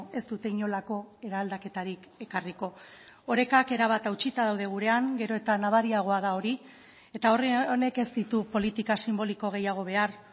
ez dute inolako eraldaketarik ekarriko orekak erabat hautsita daude gurean gero eta nabariagoa da hori eta honek ez ditu politika sinboliko gehiago behar